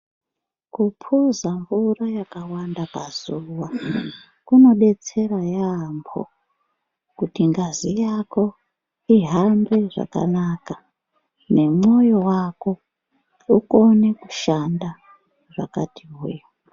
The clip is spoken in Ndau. Kupuza mvura yakawanda pazuwa kunodetsera yambo kuti ngazi yako ihambe zvakanaka nemwoyo wako ukone kushanda zvakati hwe.